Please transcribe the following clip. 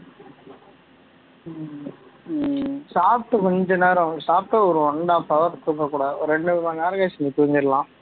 சாப்பிட்டு கொஞ்ச நேரம் சாப்பிட்டு ஒரு one and half hour தூங்க கூடாது ஒரு ரெண்டு மணி நேரம் கழிச்சு நீ தூங்கிடலாம்